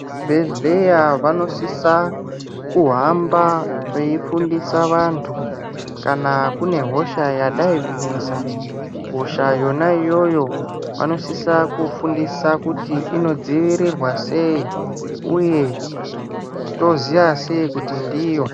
Vekuzvibhedhleya vanosisa kuhamba veifundisa vantu kana kune hosha yadai kunesa. Hosha yona iyoyo vanosisa kufundisa kuti inodzivirirwa sei uye toziva sei kuti ndiyo.